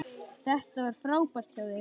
Þetta var frábært hjá þér!